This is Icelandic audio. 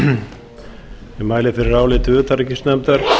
ég mæli fyrir áliti utanríkisnefndar